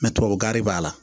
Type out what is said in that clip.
tubabukan de b'a la